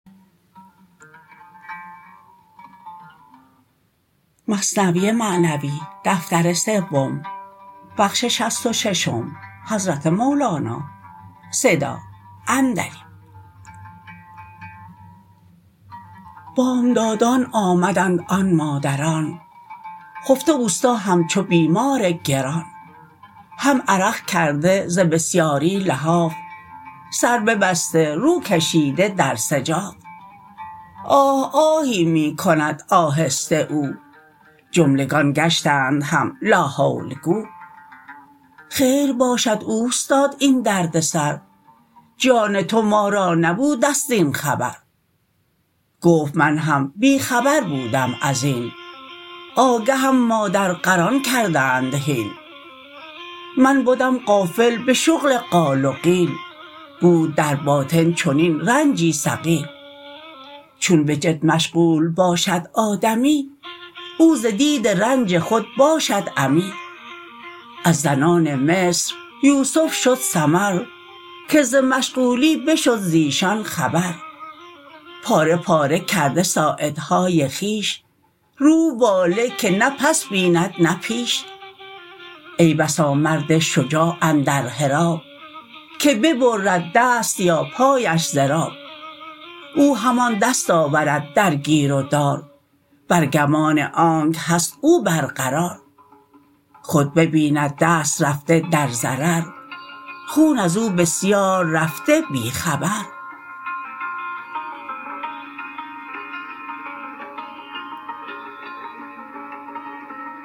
بامدادان آمدند آن مادران خفته استا همچو بیمار گران هم عرق کرده ز بسیاری لحاف سر ببسته رو کشیده در سجاف آه آهی می کند آهسته او جملگان گشتند هم لا حول گو خیر باشد اوستاد این درد سر جان تو ما را نبودست زین خبر گفت من هم بی خبر بودم ازین آگهم مادر غران کردند هین من بدم غافل به شغل قال و قیل بود در باطن چنین رنجی ثقیل چون به جد مشغول باشد آدمی او ز دید رنج خود باشد عمی از زنان مصر یوسف شد سمر که ز مشغولی بشد زیشان خبر پاره پاره کرده ساعدهای خویش روح واله که نه پس بیند نه پیش ای بسا مرد شجاع اندر حراب که ببرد دست یا پایش ضراب او همان دست آورد در گیر و دار بر گمان آنک هست او بر قرار خود ببیند دست رفته در ضرر خون ازو بسیار رفته بی خبر